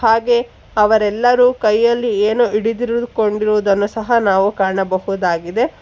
ಹಾಗೆ ಅವರೆಲ್ಲರೂ ಕೈಯಲ್ಲಿ ಏನೋ ಹಿಡಿದಿರುಕೊಂಡಿರುವುದನ್ನು ಸಹಾ ನಾವು ಕಾಣಬಹುದಾಗಿದೆ.